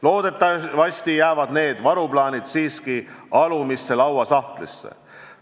Loodetavasti jäävad need varuplaanid siiski alumisse lauasahtlisse.